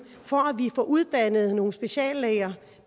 for at vi får uddannet nogle speciallæger